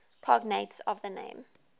cognates of the name